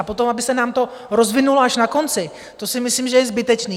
A potom aby se nám to rozvinulo až na konci, to si myslím, že je zbytečné.